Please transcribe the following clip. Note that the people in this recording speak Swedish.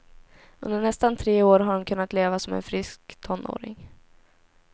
Under nästan tre år har hon kunnat leva som en frisk tonåring.